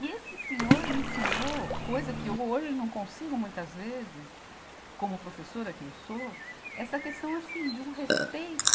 E esse senhor me ensinou, coisa que eu hoje não consigo muitas vezes, como professora que eu sou, essa questão assim de um respeito